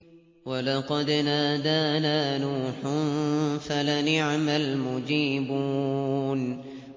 وَلَقَدْ نَادَانَا نُوحٌ فَلَنِعْمَ الْمُجِيبُونَ